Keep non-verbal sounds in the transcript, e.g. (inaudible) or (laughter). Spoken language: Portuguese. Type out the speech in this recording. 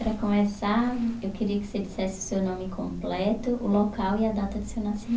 Para começar, eu queria que você dissesse o seu nome completo, o local e a data de seu nasci (unintelligible)